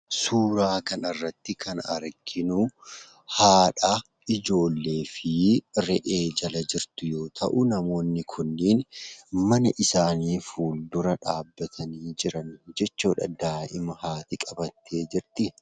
Suuraa kanarratti kan arginu haadha ijoollee fi re'ee jala jirtuu yoo ta'uu namoonni kunniin mana isaanii fuuldura dhaabbatanii jiran jechuudha. Daa'ima haadhi qabattee jirti.